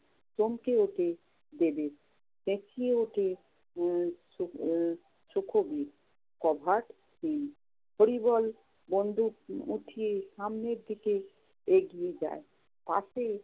চমকে ওঠে ডেভিড। চেঁচিয়ে ওঠে আহ আহ সুখবীর cover team হরিবল বন্দুক উঠিয়ে সামনের দিকে এগিয়ে যায়। পাশেই